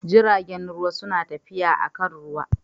Jiragen ruwa suna tafiya akan ruwa.